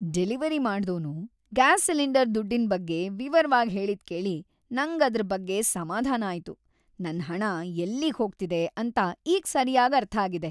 Delivery ಮಾಡ್ದೋನು gas cylinder ದುಡ್ಡಿನ್‌ ಬಗ್ಗೆ ವಿವರ್ವಾಗ್‌ ಹೇಳಿದ್ಕೇಳಿ ನಂಗ್‌ ಅದ್ರ್‌ ಬಗ್ಗೆ ಸಮಾಧಾನ ಆಯ್ತು. ನನ್ ಹಣ ಎಲ್ಲಿಗ್ ಹೋಗ್ತಿದೆ ಅಂತ ಈಗ್‌ ಸರ್ಯಾಗ್ ಅರ್ಥ ಆಗಿದೆ.